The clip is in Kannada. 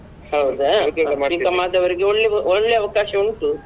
ಹೌದಾ B.Com ಆದವರಿಗೆ ಒಳ್ಳೆ ಒಳ್ಳೇ ಅವಕಾಶ ಉಂಟು.